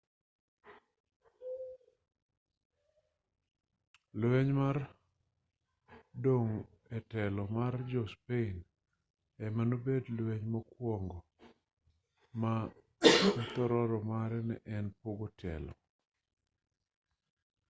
lweny mar dong' e telo mar jo-spain ema nobedo lweny mokwongo ma thororo mare ne en pogo telo